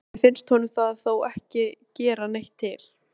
Innst inni finnst honum það þó ekki gera neitt til.